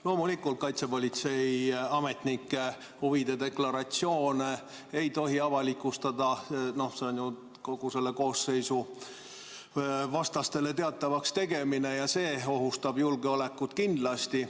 Loomulikult, kaitsepolitseiametnike huvide deklaratsioone ei tohi avalikustada, see oleks ju kogu selle koosseisu vastastele teatavaks tegemine ja see ohustaks julgeolekut kindlasti.